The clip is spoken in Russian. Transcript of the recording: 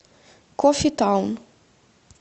кофе таун